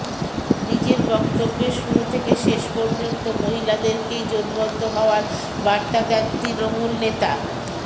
নিজের বক্তব্যের শুরু থেকে শেষ পর্যন্ত মহিলাদেরকেই জোটবদ্ধ হওয়ার বার্তা দেন তৃণমূল নেতা